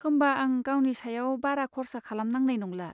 होमबा आं गावनि सायाव बारा खर्सा खालामनांनाय नंला।